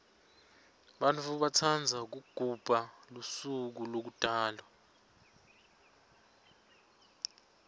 bantfu batsandza kugubha lusuko lekutalwa